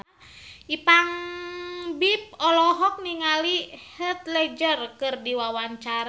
Ipank BIP olohok ningali Heath Ledger keur diwawancara